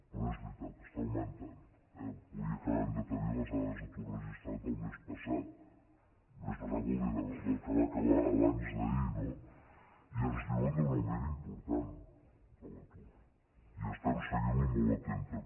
però és veritat està augmentant eh avui acabem de tenir les dades d’atur registrat del mes passat del mes passat vol dir del que va acabar abans·d’ahir no i ens diuen d’un augment important de l’atur i estem seguint·lo molt atentament